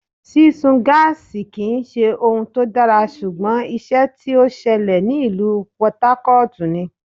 Sísun gáásì kì ń ṣe ohun tó dára, ṣùgbọ́n ìṣe tí ó ṣẹlẹ̀ ní ìlú Pọtu Ákótùù ni.